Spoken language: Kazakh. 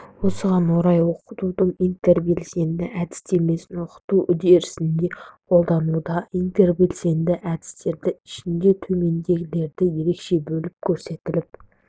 осыған орай оқытудың интербелсенді әдістемесін оқыту үдерісінде қолдануда интербелсенді әдістердің ішінде төмендегілері ерекше бөліп көрсетіліп